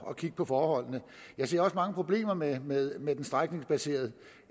at kigge på forholdene jeg ser også mange problemer med med den strækningsbaserede